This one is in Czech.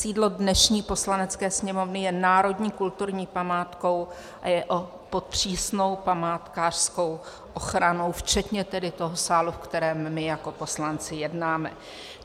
Sídlo dnešní Poslanecké sněmovny je národní kulturní památkou a je pod přísnou památkářskou ochranou včetně tedy toho sálu, ve kterém my jako poslanci jednáme.